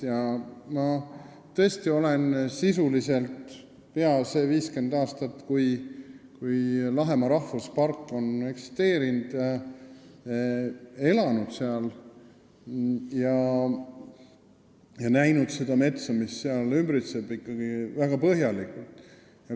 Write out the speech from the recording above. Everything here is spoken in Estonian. Ma olen tõesti sisuliselt peaaegu kõik need 50 aastat, kui Lahemaa rahvuspark on eksisteerinud, seal elanud ja näinud seda metsa, mis seal kasvab, ikkagi väga põhjalikult.